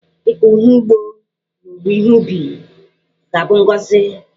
Ịkọ ọrụ ugbo na owuwe ihe ubi ga-abụ bụ ngọzị.